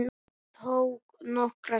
Það tók nokkra stund.